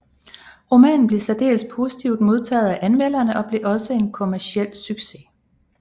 Romanen blev særdeles positivt modtaget af anmelderne og blev også en kommerciel succes